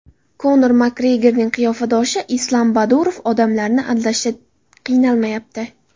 Konor MakGregorning qiyofadoshi Islam Badurov odamlarni aldashda qiynalmayapti .